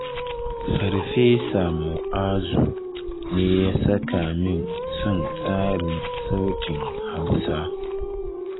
Farfesa Mu'azu ne ya saka min son tsarin sautin Hausa.